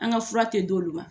An ka fura tɛ di olu ma